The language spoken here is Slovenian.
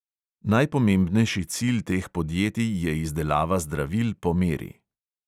Najpomembnejši cilj teh podjetij je izdelava zdravil po meri.